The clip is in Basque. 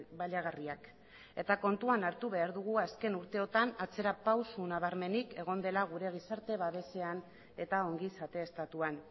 baliagarriak eta kontuan hartu behar dugu azken urteotan atzera pauso nabarmenik egon dela gure gizarte babesean eta ongizate estatuan